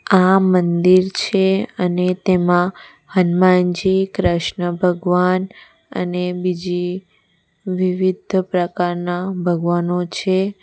આ મંદિર છે અને તેમાં હનુમાનજી કૃષ્ણ ભગવાન અને બીજી વિવિધ પ્રકારના ભગવાનનો છે.